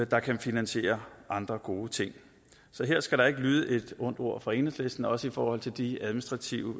der kan finansiere andre gode ting så her skal der ikke lyde et ondt ord fra enhedslisten også i forhold til de administrative